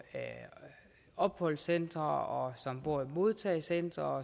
opholdscentre og modtagecentre